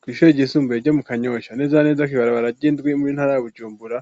Kw'ishure ryisumbuye ryo mu kanyosha neza neza kwibarabara ry'indwi mu ntara ya bujumbura